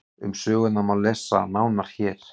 um sögurnar má lesa nánar hér